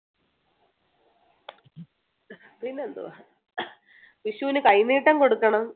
പിന്നെ എന്തു വാ വിഷുന് കൈനീട്ടം കൊടുക്കണം